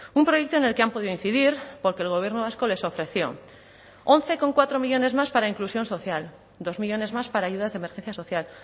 un proyecto en el que han podido incidir porque el gobierno vasco les ofreció once coma cuatro millónes más para inclusión social dos millónes más para ayudas de emergencia social